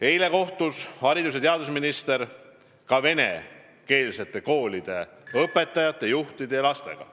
Eile kohtus haridus- ja teadusminister ka venekeelsete koolide õpetajate, juhtide ja lastega.